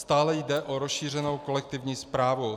Stále jde o rozšířenou kolektivní správu.